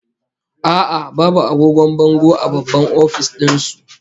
A'a, babu agogon bango a babban office din su